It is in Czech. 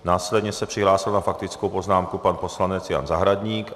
Následně se přihlásil na faktickou poznámku pan poslanec Jan Zahradník.